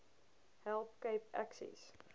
help cape access